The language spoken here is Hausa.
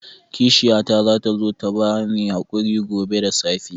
Kishiyata za ta zo ta ba ni haƙuri gobe da safe.